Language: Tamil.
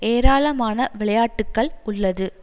ஏராளமான விளையாட்டுகள் உள்ளது